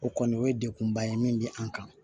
O kɔni o ye dekunba ye min bɛ an kan